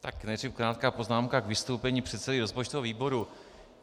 Tak nejdřív krátká poznámka k vystoupení předsedy rozpočtového výboru.